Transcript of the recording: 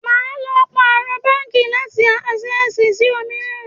Wà á lọ pàrọ̀ báńkì láti Ásẹ́sìì sí òmíràn.